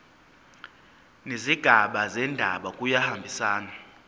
nezigaba zendaba kuyahambisana